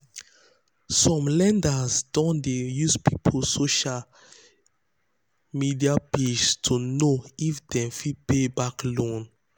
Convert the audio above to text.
some lenders don dey use people social use people social media um page to know um if um dem fit pay back loan.